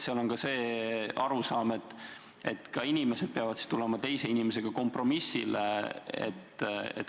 Seal on see arusaam, et ka inimesed peavad jõudma teise inimesega kompromissile.